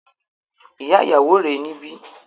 Ìyá ìyàwó rè é níbí